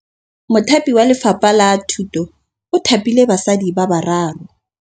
Mothapi wa Lefapha la Thutô o thapile basadi ba ba raro.